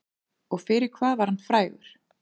Og fyrir hvað var hann frægur?